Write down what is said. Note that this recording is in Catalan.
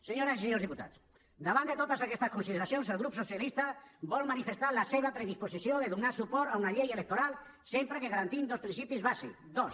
senyores i senyors diputats davant de totes aquestes consideracions el grup socialista vol manifestar la seva predisposició de donar suport a una llei electoral sempre que garantim dos principis bàsics dos